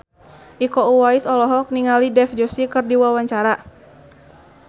Iko Uwais olohok ningali Dev Joshi keur diwawancara